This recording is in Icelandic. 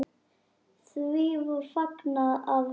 Því var fagnað af sumum.